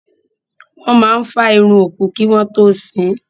Wọ́n máa fá irun òkú kí wọ́n tó sín.